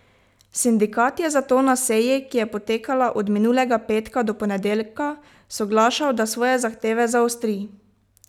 Sindikat je zato na seji, ki je potekala od minulega petka do ponedeljka, soglašal, da svoje zahteve zaostri.